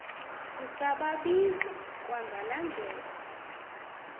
usababiza kwangalaa ndlela